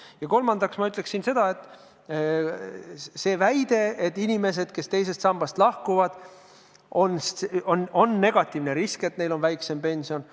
Ja kolmandaks ma kommenteeriksin väidet, et inimesed, kes teisest sambast lahkuvad, on negatiivne risk ja nad hakkavad saama väiksemat pensionit.